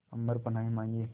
अम्बर पनाहे मांगे